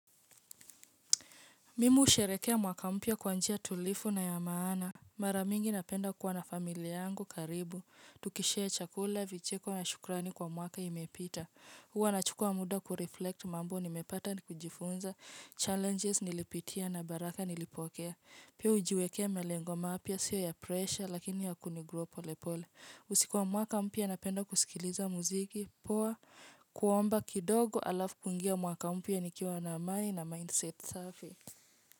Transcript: Mimu husherekea mwaka mpya kwa njia tulivu na ya maana. Mara mingi napenda kuwa na familia yangu karibu. Tukishare chakula, vicheko na shukrani kwa mwaka imepita. Huwa nachukua muda kureflect mambo nimepata nikujifunza. Challenges nilipitia na baraka nilipokea. Pia hujiwekea malengo mapya sio ya pressure lakini ya kuni grow pole pole. Usiku wa mwaka mpya napenda kusikiliza muziki. Poa kuomba kidogo alafu kungia mwaka mpya nikiwa na amani na mindset safi.